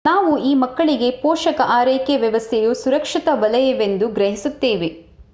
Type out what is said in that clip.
ನಾವು ಈ ಮಕ್ಕಳಿಗೆ ಪೋಷಕ ಆರೈಕೆ ವ್ಯವಸ್ಥೆಯು ಸುರಕ್ಷತಾ ವಲಯವೆಂದು ಗ್ರಹಿಸುತ್ತೇವೆ